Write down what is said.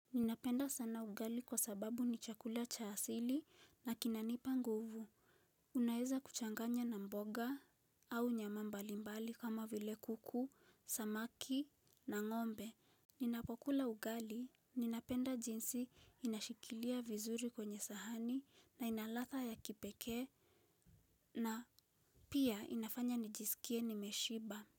Ninapenda sana ugali kwa sababu ni chakula cha asili na kinanipa nguvu. Unaeza kuchanganya na mboga au nyama mbalimbali kama vile kuku, samaki na ngombe. Ninapokula ugali, ninapenda jinsi inashikilia vizuri kwenye sahani na ina ladha ya kipekee. Na pia inafanya nijisikie nimeshiba.